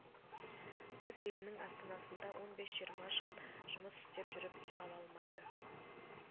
өз елінің астанасында он бес жиырма жыл жұмыс істеп жүріп үй ала алмайды